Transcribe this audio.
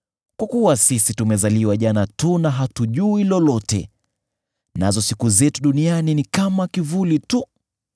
kwa kuwa sisi tumezaliwa jana tu na hatujui lolote, nazo siku zetu duniani ni kama kivuli tu.